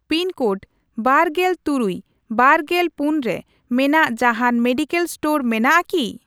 Pin code ᱵᱟᱨᱜᱮᱞ ᱛᱩᱨᱩᱭ, ᱵᱟᱨᱜᱮᱞ ᱯᱩᱱ ᱨᱮ ᱢᱮᱱᱟᱜ ᱡᱟᱦᱟᱱ ᱢᱮᱰᱤᱠᱮᱞ ᱤᱥᱴᱳᱨ ᱢᱮᱱᱟᱜᱼᱟ ᱠᱤ ?